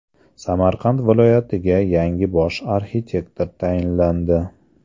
Samarqand viloyatiga yangi bosh arxitektor tayinlandi.